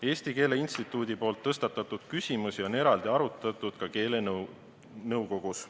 Eesti Keele Instituudi tõstatatud küsimusi on eraldi arutatud ka keelenõukogus.